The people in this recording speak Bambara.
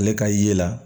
Ale ka ye la